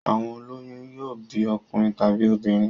Àwọn ó lóyún yóò bí ọkùnrin tàbí obìnrin.